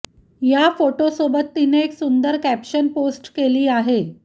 या फोटोसोबत तिने एक सुंदर कॅप्शन पोस्ट केली आहे